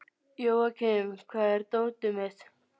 Jóakim, hvar er dótið mitt?